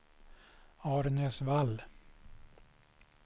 Arnäsvall